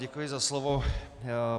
Děkuji za slovo.